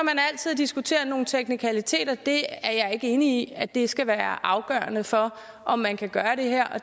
at diskutere nogle teknikaliteter jeg er ikke enig i at det skal være afgørende for om man kan gøre det her